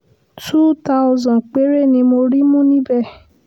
túù táọ̀sán péré ni mo rí mú níbẹ̀